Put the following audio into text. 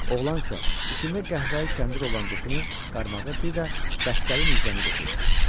Oğlan isə içində qəhvəyi kəndir olan qutunu, qarmağı bir də dəstəri nizəni götürdü.